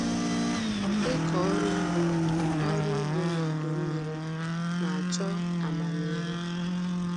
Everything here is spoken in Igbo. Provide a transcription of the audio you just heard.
Ịkọ ọrụ ugbo ọrụ ugbo n'udu mmiri na-achọ amamihe